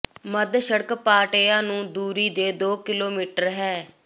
ਮੱਧ ਸੜਕ ਪਾਟੇਯਾ ਨੂੰ ਦੂਰੀ ਦੇ ਦੋ ਕਿਲੋਮੀਟਰ ਹੈ